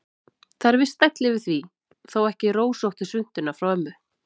Það er viss stæll yfir því, þó ekki rósóttu svuntuna frá ömmu.